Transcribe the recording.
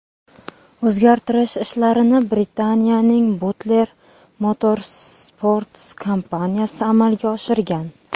O‘zgartirish ishlarini Britaniyaning Butler Motorsports kompaniyasi amalga oshirgan.